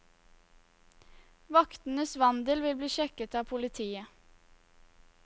Vaktenes vandel vil bli sjekket av politiet.